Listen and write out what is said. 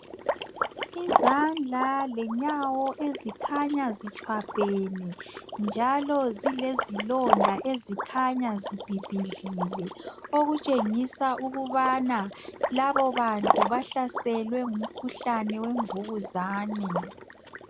Izandla lenyawo ezikhanya zitshwabhene njalo zilezilonda ezikhanya zibhibhidlile okutshengisela ukubana labo bantu bahlaselwe ngumkhuhlane wemvukuzane